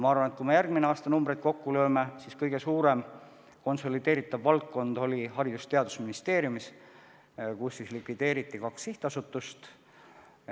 Ma arvan, et kui me järgmine aasta numbreid kokku lööme, siis kõige suurem konsolideerumine oli Haridus- ja Teadusministeeriumi valdkonnas, kus likvideeriti kaks sihtasutust.